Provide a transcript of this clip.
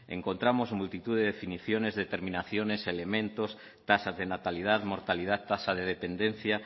encontramos multitud de definiciones determinaciones elementos tasas de natalidad mortalidad tasa de dependencia